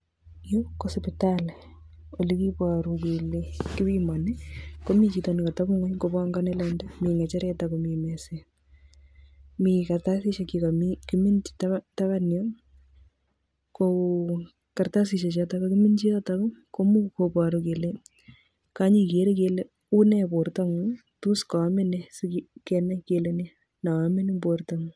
Yu kosipitali ole kibaru kele kipimani komii chito nekatepingony kobongoni lainda mi ngacheret akomi meset. Mi kartasisiek che kakiminji tabanyu kokartasisiek chotok kakiminji yotok komuch koboru kele kenyikere kele unee bortongung tos kaamin nee sikenai kele nee neamin eng bortongung